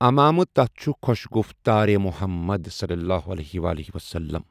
امامٕہ تَتھ چھُ خوش گُفتارِ محمد صل الله علیہ وسلم۔